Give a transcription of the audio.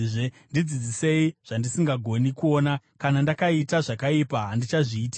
Ndidzidzisei zvandisingagoni kuona; kana ndakaita zvakaipa, handichazviitizve.’